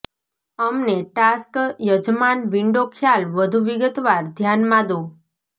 અમને ટાસ્ક યજમાન વિન્ડો ખ્યાલ વધુ વિગતવાર ધ્યાનમાં દો